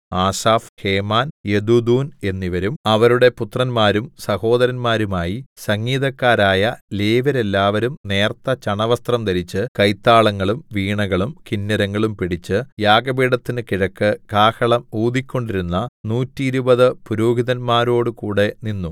Asaph Heman Jeduthun എന്നിവരും അവരുടെ പുത്രന്മാരും സഹോദരന്മാരുമായി സംഗീതക്കാരായ ലേവ്യരെല്ലാവരും നേർത്ത ചണവസ്ത്രം ധരിച്ച് കൈത്താളങ്ങളും വീണകളും കിന്നരങ്ങളും പിടിച്ച് യാഗപീഠത്തിന് കിഴക്ക് കാഹളം ഊതിക്കൊണ്ടിരുന്ന നൂറ്റിരുപത് പുരോഹിതന്മാരോടുകൂടെ നിന്നു